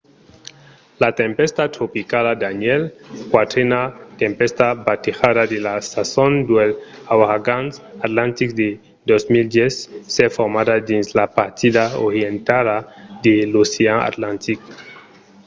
la tempèsta tropicala danielle quatrena tempèsta batejada de la sason dels auragans atlantics de 2010 s’es formada dins la partida orientala de l’ocean atlantic